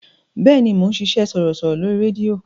Bẹ́ẹ̀ni, mò ń ṣiṣẹ́ sọ̀rọ̀sọ̀rọ̀ lórí rédíò.